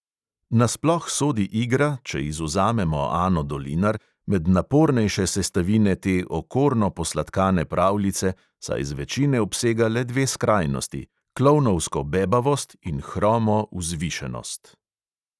Nasploh sodi igra, če izvzamemo ano dolinar, med napornejše sestavine te okorno posladkane pravljice, saj zvečine obsega le dve skrajnosti: klovnovsko bebavost in hromo "vzvišenost".